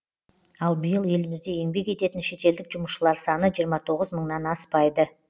ал биыл елімізде еңбек ететін шетелдік жұмысшылар саны жиырма тоғыз мыңнан аспайды